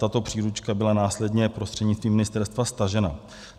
Tato příručka byla následně prostřednictvím ministerstva stažena.